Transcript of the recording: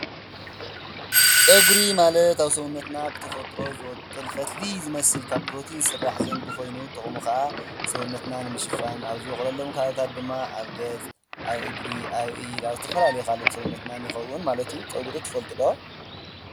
ፀጕሪ ማለት ኣብ ሰውነትና ብተፈትሮ ዝበቑል ፈትሊ ዝመስል ካብ ፕሮቲን ዝስራሕ ዘንጊ ኾይኑ ጥቕሙ ኸዓ ሰውነትና ንምሽፋን ኣብ ዝበቖለሎም ከባብታት ድማ ኣብ ገፅ፣ ኣብ እግሪ፣ ኣብ ካልእ ዝተፈላለየ ኣካላት ሰውነትና ይኸውን ማለት እዩ፡፡ ፀጕሪ ትፈልጢ ዶ?